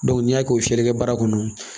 n'i y'a kɛ fiyɛli kɛbaga kɔnɔ